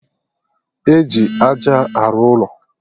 Eji aja arụ ụlọ